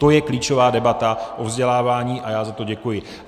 To je klíčová debata o vzdělávání a já za to děkuji.